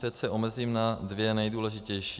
Teď se omezím na dvě nejdůležitější.